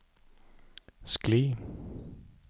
skli